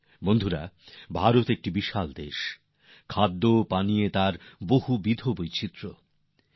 সাথীরা ভারত এক বিরাট দেশ খাওয়াদাওয়ার ক্ষেত্রেও এর অনেক রকম বৈচিত্র্য আছে